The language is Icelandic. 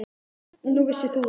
Nú, vissir þú það?